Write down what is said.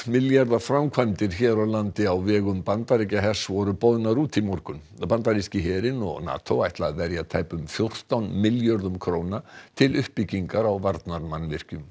milljarða framkvæmdir hér á landi á vegum Bandaríkjahers voru boðnar út í morgun bandaríski herinn og NATO ætla að verja tæpum fjórtán milljörðum króna til uppbyggingar á varnarmannvirkjum